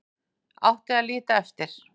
Átti að líta eftir